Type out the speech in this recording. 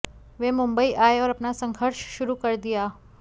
वे मुंबई आए और अपना संघर्ष शुरू कर दिया